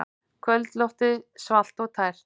Kvöldloftið svalt og tært.